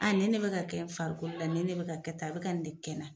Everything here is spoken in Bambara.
Aa ni ne bɛ ka kɛ n farikolo la ni ne bɛ ka kɛ tan a bɛ ka nin de kɛ na.